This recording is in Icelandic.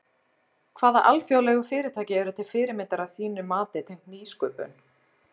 Hvaða alþjóðlegu fyrirtæki eru til fyrirmyndar að þínu mati tengt nýsköpun?